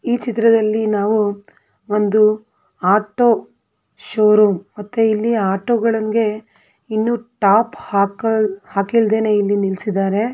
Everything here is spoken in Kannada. ಈ ಚಿತ್ರದಲ್ಲಿ ನಾವು ಒಂದು ಆಟೋ ಶೋ ರೂಮ್ ಮತ್ತು ಇಲ್ಲಿ ಇನ್ನು ಟಾಪ್ ಹಕ-ಹಾಕಲಿಲ್ಲದೆನೆ ಇಲ್ಲಿ ನಿಲ್ಲಿಸಿದ್ದಾರೆ.